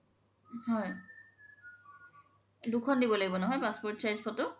হয় দুখন দিব লাগিব নহয় passport size photo